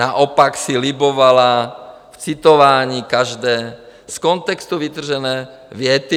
Naopak si libovala v citování každé z kontextu vytržené věty.